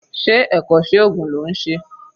Ṣé ẹ̀kọ́ṣẹ́ oògùn ló ń ṣe?